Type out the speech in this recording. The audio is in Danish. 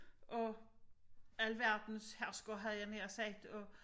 Og alverdens hersker havde jeg nær sagt og